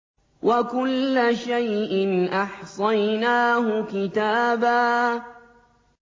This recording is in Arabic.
وَكُلَّ شَيْءٍ أَحْصَيْنَاهُ كِتَابًا